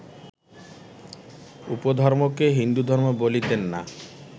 উপধর্মকে হিন্দুধর্ম বলিতেন না